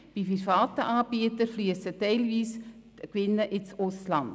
Bei privaten Anbietern hingegen fliessen die Gewinne teilweise ins Ausland.